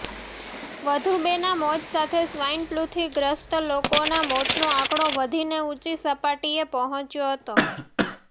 વધુ બેના મોત સાથે સ્વાઈન ફ્લુથી ગ્રસ્ત લોકોના મોતનો આંકડો વધીને ઉંચી સપાટીએ પહોંચ્યો હતો